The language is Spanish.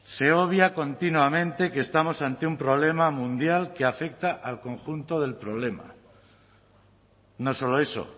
se obvia continuamente que estamos ante un problema mundial que afecta al conjunto del problema no solo eso